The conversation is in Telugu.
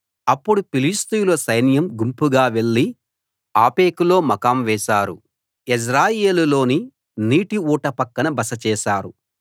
అప్పుడు ఫిలిష్తీయుల సైన్యం గుంపుగా వెళ్ళి ఆఫెకులో మకాం చేశారు ఇశ్రాయేలీయులు యెజ్రెయేలులోని నీటి ఊట పక్కన బస చేశారు